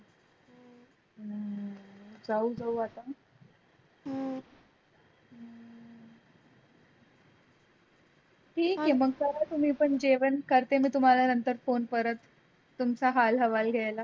ठीक आहे मग करा तुम्ही पण जेवण करते मी तुम्हाला नंतर phone परत तुमचा हाल हवाल घ्यायला